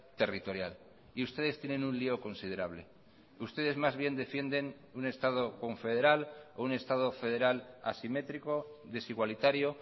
territorial y ustedes tienen un lío considerable ustedes más bien defienden un estado confederal o un estado federal asimétrico desigualitario